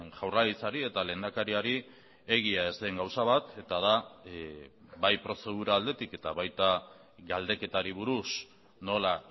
jaurlaritzari eta lehendakariari egia ez den gauza bat eta da bai prozedura aldetik eta baita galdeketari buruz nola